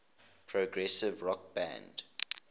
progressive rock band